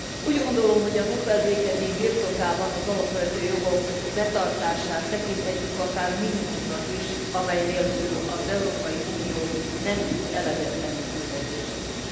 Úgy gondolom, hogy a Nobel békedíj birtokában az alapvető jogok betartását tekinthetjük akár minimumnak is, amely nélkül az Európai Unió nem tud eleget tenni küldetésének.